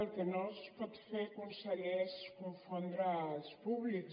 el que no es pot fer conseller és confondre els públics